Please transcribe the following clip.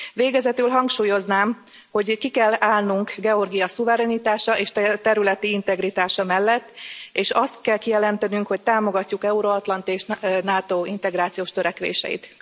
Végezetül hangsúlyoznám, hogy ki kell állnunk Georgia szuverenitása és területi integritása mellett, és azt kell kijelentenünk, hogy támogatjuk euroatlanti és NATO integrációs törekvéseit.